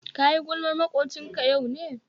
Kayi gulmar makwocinka yau ne?